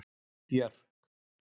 Björk